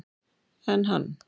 Enn hann